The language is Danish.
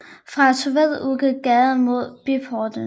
Fra torvet udgik gader mod byportene